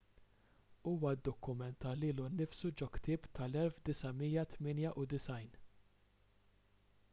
huwa ddokumenta lilu nnifsu ġo ktieb tal-1998